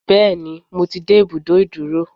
Bẹ́ẹ̀ni, mo ti dé ibùdó ìdúró.